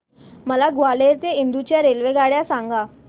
मला ग्वाल्हेर ते इंदूर च्या रेल्वेगाड्या सांगा